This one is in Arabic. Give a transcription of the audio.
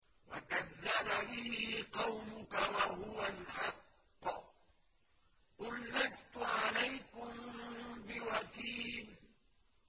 وَكَذَّبَ بِهِ قَوْمُكَ وَهُوَ الْحَقُّ ۚ قُل لَّسْتُ عَلَيْكُم بِوَكِيلٍ